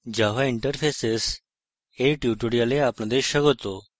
java interfaces এর tutorial আপনাদের স্বাগত